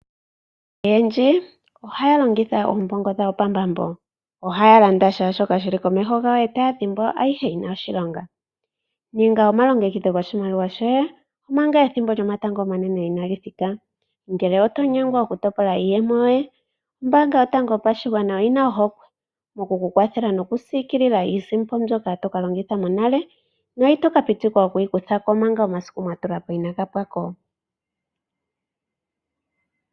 Aantu oyendji ohaya longitha oombongo dhawo pambambo. Ohaya landa kehe shoka shili komeho gawo yo taya dhimbwa ayihe yi na oshilonga . Ninga omalongekidho goshimaliwa shoye manga ethimbo lyomatango omanene inali thika. Ngele oto nyengwa okutopola iiyemo yoye ombaanga yotango yopashigwana oyi na ohokwe moku ku kwathela nokusiikilila iisimpo, mbyoka to ka longitha monale no itoka pitikwa okuyi kutha ko manga omasiku nga mwatula po inaga pwa ko .